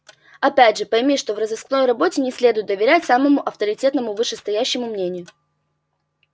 опять же пойми что в розыскной работе не следует доверять самому авторитетному вышестоящему мнению